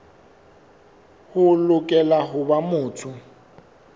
o lokela ho ba motho